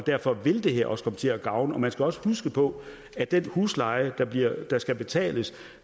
derfor vil det her også komme til at gavne man skal også huske på at den husleje der skal betales